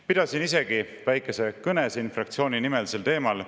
Pidasin siin juba väikese kõne fraktsiooni nimel sel teemal.